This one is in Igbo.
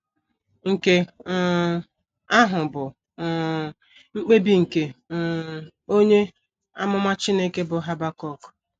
Nke um ahụ bụ um mkpebi nke um onye amụma Chineke bụ́ Habakuk.